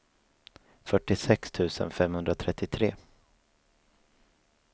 fyrtiosex tusen femhundratrettiotre